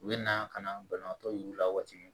U bɛ na ka na banabaatɔ y'u la waati min